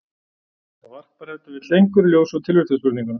Það varpar ef til vill einhverju ljósi á tilvistarspurninguna.